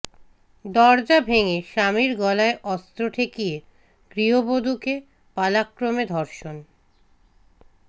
দরজা ভেঙে স্বামীর গলায় অস্ত্র ঠেকিয়ে গৃহবধূকে পালাক্রমে ধর্ষণ